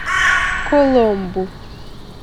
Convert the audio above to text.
коломбу